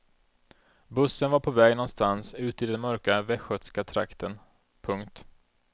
Bussen var på väg någonstans ut i den mörka västgötska trakten. punkt